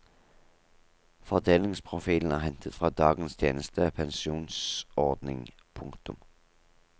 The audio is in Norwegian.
Fordelingsprofilen er hentet fra dagens tjenestepensjonsordning. punktum